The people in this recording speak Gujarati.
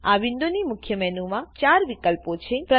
આ વિન્ડોની મુખ્ય મેનુમાં ચાર વિકલ્પો છે